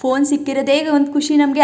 phone ಸಿಕ್ಕಿರೋದ್ದೇ ಒಂದು ಖುಷಿ ನಮಗೆ--